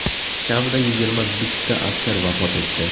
Kamida yigirma bitta askar vafot etdi.